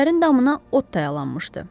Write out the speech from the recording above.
Evlərin damına ot dayalanmışdı.